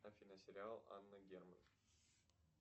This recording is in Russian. афина сериал анна герман